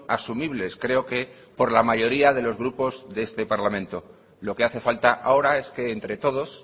asumibles creo que por la mayoría de los grupos de este parlamento lo que hace falta ahora es que entre todos